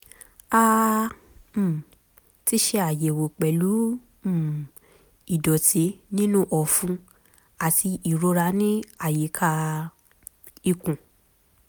a um ti ṣe àyẹ̀wò pẹ̀lú um ìdọ̀tí nínú ọ̀fun àti ìrora ní àyíká um ikùn